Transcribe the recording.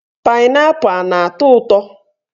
Painaipu ana atọ ụtọ